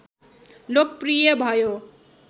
लोकप्रिय भयो